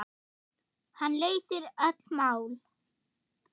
Hann leysir öll mál.